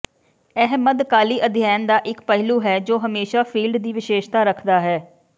ਇਹ ਮੱਧਕਾਲੀ ਅਧਿਐਨ ਦਾ ਇਕ ਪਹਿਲੂ ਹੈ ਜੋ ਹਮੇਸ਼ਾ ਫੀਲਡ ਦੀ ਵਿਸ਼ੇਸ਼ਤਾ ਰੱਖਦਾ ਹੈ